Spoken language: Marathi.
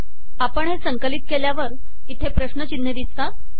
आपण हे संकलित केल्यावर इथे प्रश्नचिन्हे दिसतात